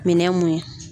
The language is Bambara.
Minɛn mun ye